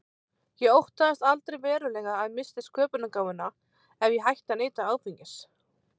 Ég óttaðist aldrei verulega að ég missti sköpunargáfuna ef ég hætti að neyta áfengis.